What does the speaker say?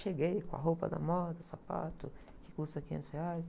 Cheguei com a roupa da moda, sapato, que custa quinhentos reais.